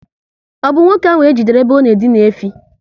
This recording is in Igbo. Ọ bụ nwoke ahụ ka ejidere ebe ọ na edina efi?